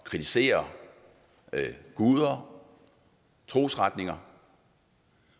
kritisere guder trosretninger